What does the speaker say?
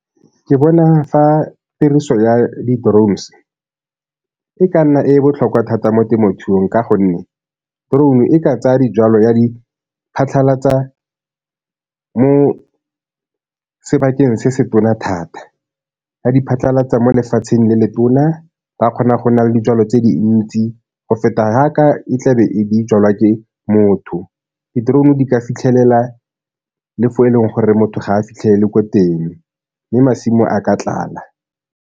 Ke bona fa tiriso ya di-drones e ka nna e botlhokwa thata mo temothuong ka gonne drone-u e ka tsaya dijalo ya di phatlhalatsa mo sebakeng se se tona thata, ya di phatlhalatsa mo lefatsheng le letona ba kgona go na le dijalo tse dintsi go feta fa a e tla be e jalwa ke motho. Di-drone-u di ka fitlhelela le fo e leng gore motho ga a fitlhelele ko teng mme masimo a ka tlala.